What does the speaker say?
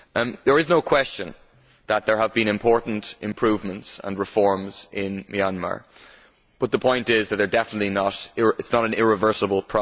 There is no question that there have been important improvements and reforms in Myanmar, but the point is that they are definitely not irreversible.